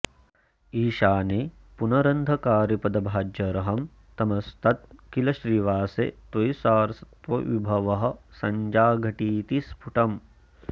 ईशाने पुनरन्धकारिपदभाज्यर्हं तमस्तत् किल श्रीवासे त्वयि सारसत्वविभवः सञ्जाघटीति स्फुटम्